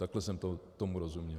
Takhle jsem tomu rozuměl.